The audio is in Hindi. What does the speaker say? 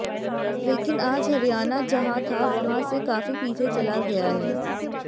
लेकिन आज हरियाणा जहां था वहां से काफी पीछे चला गया है